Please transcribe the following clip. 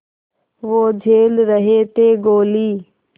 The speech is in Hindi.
वो झेल रहे थे गोली